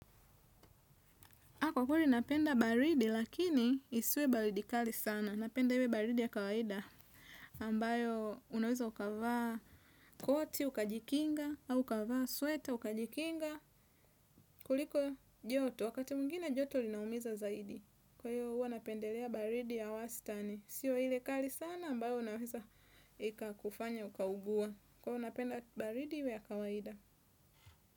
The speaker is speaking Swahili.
Kwa kweli napenda baridi lakini isiwe baridi kali sana. Napenda iwe baridi ya kawaida. Ambayo unaweza ukavaa koti ukajikinga au ukavaa sweta ukajikinga kuliko joto wakati mwingina joto linaumiza zaidi. Kwa hiyo huwa napendelea baridi ya wastani. Sio ile kali sana ambayo unaweza ikakufanya ukaugua. Kwa unapenda baridi iwe ya kawaida.